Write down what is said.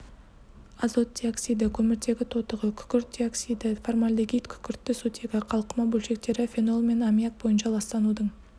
азот диоксиді көміртегі тотығы күкірт диоксиді формальдегид күкіртті сутегі қалқыма бөлшектері фенол және аммиак бойынша ластанудың